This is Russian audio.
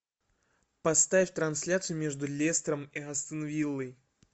поставь трансляцию между лестером и астон виллой